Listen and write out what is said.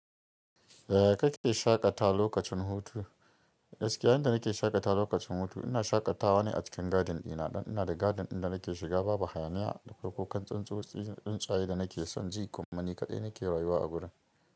Ya kake shaƙata lokacin hutu. Gaskiya, inda nake shaƙata lokacin hutu ina shaƙatawa ne a cikin garden dina. Dan ina da garden dinnan nake shiga, babu hayaniya da farko kan tsuntsotsi tsuntsaye da nake son ji, kuma ni kaɗai nake rayuwa a gurin.